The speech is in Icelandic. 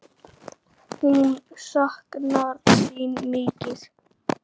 Hún saknar þín mikið.